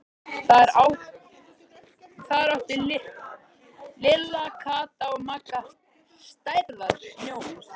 Þar áttu Lilla, Kata og Magga stærðar snjóhús.